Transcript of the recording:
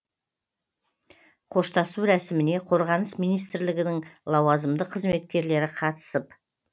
қоштасу рәсіміне қорғаныс министрлігінің лауазымды қызметкерлері қатысып